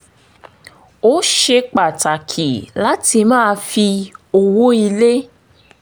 ó ṣe pàtàkì láti máa fi owó ilé